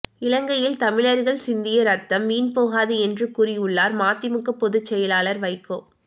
இலங்கையில் தமிழர்கள் சிந்திய ரத்தம் வீண் போகாது என்று கூறியுள்ளார் மதிமுக பொதுச் செயலாளர் வைகோ